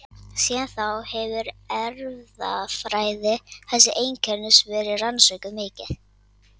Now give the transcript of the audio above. Síðan þá hefur erfðafræði þessa einkennis verið rannsökuð mikið.